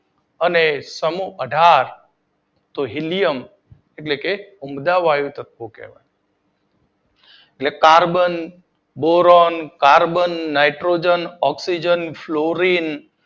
અને સમૂહ અઢાર તો હીલિયમ એટલે કે ઉમદા વાયુ તત્વો. એટલે કે carbon, boron, carbon, nitrogen, oxygen અને ફ્લોરિન